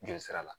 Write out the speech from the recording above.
Jeli sira la